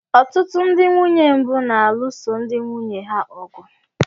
Ọtụtụ ndị nwunye mbụ na-alụso ndị nwunye ha ọgụ